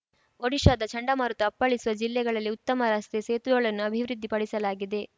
ಒಡಿಶಾದ ಚಂಡಮಾರುತ ಅಪ್ಪಳಿಸುವ ಜಿಲ್ಲೆಗಳಲ್ಲಿ ಉತ್ತಮ ರಸ್ತೆ ಸೇತುವೆಗಳನ್ನು ಅಭಿವೃದ್ಧಿ ಪಡಿಸಲಾಗಿದೆ